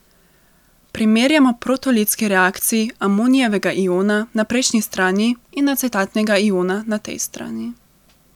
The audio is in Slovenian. Primerjajmo protolitski reakciji amonijevega iona na prejšnji strani in acetatnega iona na tej strani.